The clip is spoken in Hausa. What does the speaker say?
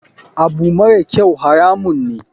Abu marakyau haramun ne.